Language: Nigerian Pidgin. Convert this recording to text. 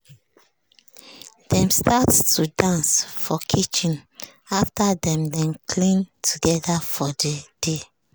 dem start to dance for kitchen after dem don clean together for de day.